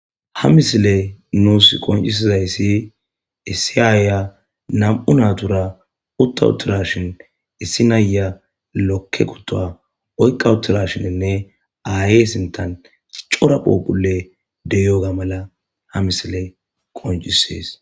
Ha missiley nusi qonccisizayisi issi aya nam'u natura utta uttidashin issi naya lokke kutuwa oyiqqa yuttidashininne aye sinttan cora phuphuley de'yoga mala ha missiley qonccises.